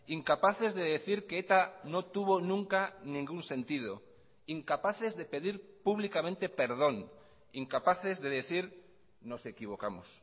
incapaces de decir que eta no tuvo nunca ningún sentido incapaces de pedir públicamente perdón incapaces de decir nos equivocamos